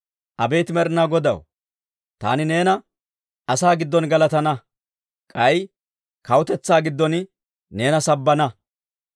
Abeet Med'inaa Godaw, taani neena asaa giddon galatana; k'ay kawutetsaa giddon neena sabbana.